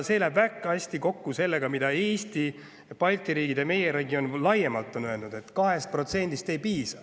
See läheb väga hästi kokku sellega, mida Eesti ja teised Balti riigid on laiemalt meie regioonis öelnud: 2%-st ei piisa.